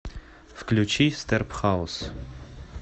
включи стербхаус